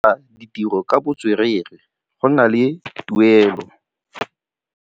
Go dira ditirô ka botswerere go na le tuelô.